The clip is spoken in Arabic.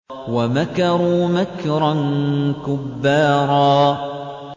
وَمَكَرُوا مَكْرًا كُبَّارًا